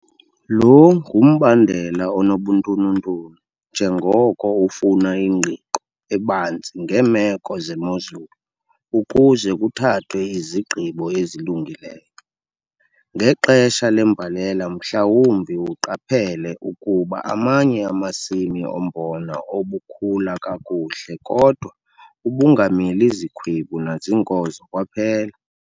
Lo ngumbandela onobuntununtunu njengoko ufuna ingqiqo ebanzi ngeemeko zemozulu ukuze kuthathwe izigqibo ezilungileyo. Ngexesha lembalela mhlawumbi uqaphele ukuba amanye amasimi ombona obukhula kakuhle kodwa ubungamili zikhwebu nazinkozo kwaphela.